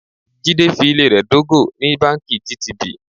Jídé fi ilé rẹ dógò ní báńkì GTB.